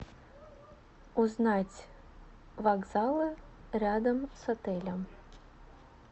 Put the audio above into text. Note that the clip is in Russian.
узнать вокзалы рядом с отелем